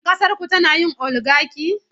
Shin ƙasarku tana yin oligaki?